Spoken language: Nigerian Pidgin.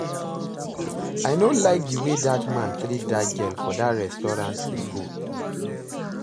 I no like the way dat man treat dat girl for dat restaurant we go